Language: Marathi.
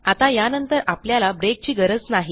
आता यानंतर आपल्याला ब्रेकची गरज नाही